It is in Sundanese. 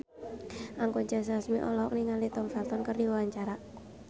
Anggun C. Sasmi olohok ningali Tom Felton keur diwawancara